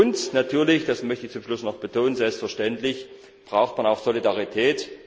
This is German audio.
Und natürlich, das möchte ich zum Schluss noch betonen, selbstverständlich braucht man auch Solidarität.